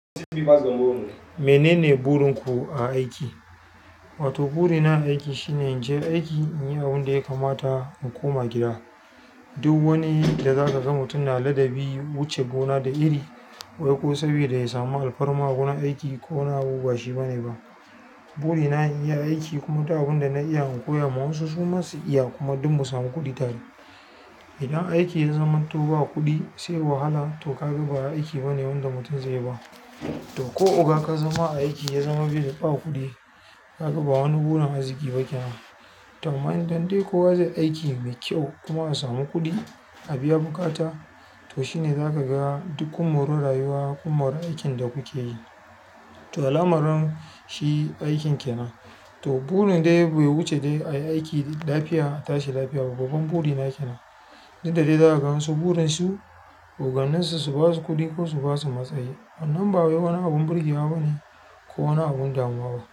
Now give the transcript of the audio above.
Menene burinku a aiki? To burina a aiki shine in je aiki in yi abin da ya kamata in koma gida. Duk wani da zaka ga mutum na ladabi wuce gona da iri, wai ko saboda ya samu alfarma a wurin aiki ko wani abu ba shi bane ba. Burina in iya aiki kuma ta abin da na iya in koya ma wasu su ma su iya kuma duk mu samu kuɗi tare. Idan aiki ya zamanto ba kuɗi sai wahala to ka ga ba aiki bane wanda mutum zai yi ba. To ko oga ka zama a aiki ya zama bai ba ba kuɗi kaga ba wani burin arziki ba kenan. To amma in dan dai kowa zai aiki mai kyau kuma samu kuɗi a biya buƙata, to shine za ka ga duk kun mori rayuwa kun mori aikin da kuke yi. To alamar shi aikin kenan. To burin dai bai wuce dai ayi aiki da lafiya a tashi lafiya. Babban buri na kenan duk da dai za ka ga wasu burin su, oganninsu su basu kuɗi ko su basu matsayi. Wannan ba wai wani abun burgewa bane ko wani abun damuwa ba.